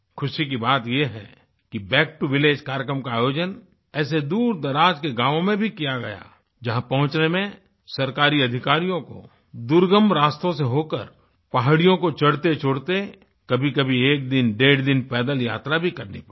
खुशी की बात ये है कि बैक टो विलेज कार्यक्रम का आयोजन ऐसे दूरदराज के गाँवों में भी किया गया जहाँ पहुँचने में सरकारी अधिकारियों को दुर्गम रास्तों से होकर पहाड़ियों को चढ़तेचढ़ते कभीकभी एक दिन डेढ़ दिन पैदल यात्रा भी करनी पड़ी